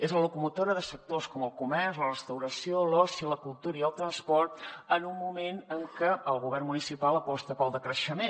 és la locomotora de sectors com el comerç la restauració l’oci la cultura i el transport en un moment en què el govern municipal aposta pel decreixement